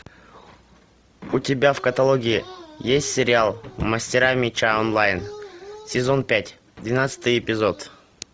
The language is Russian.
у тебя в каталоге есть сериал мастера меча онлайн сезон пять двенадцатый эпизод